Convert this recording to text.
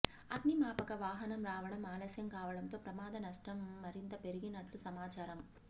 అగ్నిమాపక వాహనం రావడం ఆలస్యం కావడంతో ప్రమాద నష్టం మరింత పెరిగినట్లు సమాచారం